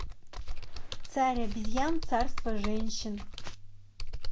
царь обезьян царство женщин